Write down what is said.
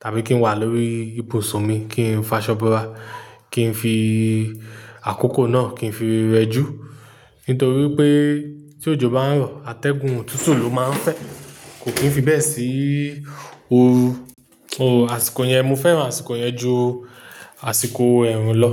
tàbí kí ń wà lórí ibùsùn mi kí ń fa ṣọ́boora, kí ń fi àkókò náà kí ń fi rẹjú. Nítorí pé tí òjò bá ń rọ̀, atẹ́gùn òtútù ló máa ń fẹ́, kò kí ń fi bẹ́ẹ̀ sí òru. Bó àsìkò yẹn mo fẹ́ràn àsìkò yẹn ju àsìkò ẹ̀rùn lọ.